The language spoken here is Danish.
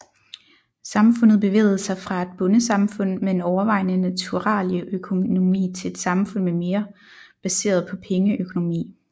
Samfundet bevægede sig fra et bondesamfund med en overvejende naturalieøkonomi til et samfund mere baseret på pengeøkonomi